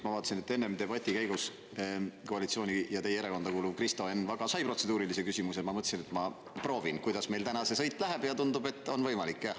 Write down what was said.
Ma vaatasin, et enne debati käigus koalitsiooni ja teie erakonda kuuluv Kristo Enn Vaga sai protseduurilise küsimuse, ma mõtlesin, et ma proovin, kuidas meil täna see sõit läheb, ja tundub, et on võimalik.